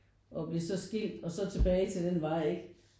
Og blev så skilt og så tilbage til den vej ikke